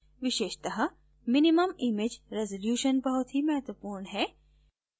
विशेषत: minimum image resolution बहुत ही महत्वपूर्ण है